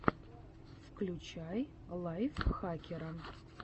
включи лайфхакера